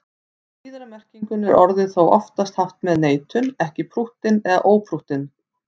Í síðari merkingunni er orðið þó oftast haft með neitun, ekki prúttinn eða óprúttinn.